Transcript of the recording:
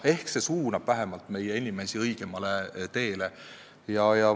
Ehk see suunab inimesi õigemale teele.